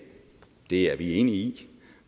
det er vi enige i